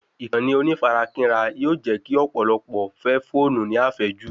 Ìkànnì onífarakínra yóò jẹ́ kí ọ̀pọ̀lọpọ̀ fẹ́ fóònù ní àfẹ́jù